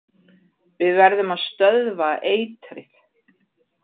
Við verðum að stöðva eitrið.